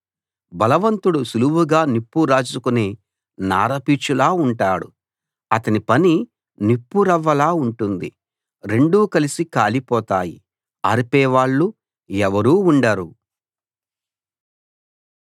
బలవంతుడు సుళువుగా నిప్పు రాజుకునే నార పీచులా ఉంటాడు అతని పని నిప్పు రవ్వలా ఉంటుంది రెండూ కలిసి కాలిపోతాయి ఆర్పే వాళ్ళు ఎవరూ ఉండరు